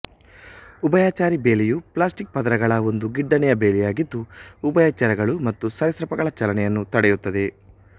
ಉಭಯಚರಿ ಬೇಲಿಯು ಪ್ಲಾಸ್ಟಿಕ್ ಪದರಗಳ ಒಂದು ಗಿಡ್ಡನೆಯ ಬೇಲಿಯಾಗಿದ್ದು ಉಭಯಚರಗಳು ಮತ್ತು ಸರೀಸೃಪಗಳ ಚಲನೆಯನ್ನು ತಡೆಯುತ್ತದೆ